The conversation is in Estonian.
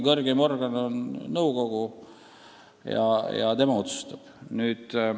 Kõrgeim organ on nõukogu ja tema otsustab.